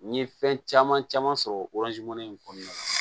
N ye fɛn caman caman sɔrɔ in kɔnɔna na